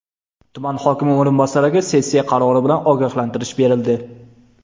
Tuman hokimi o‘rinbosariga sessiya qarori bilan ogohlantirish berildi.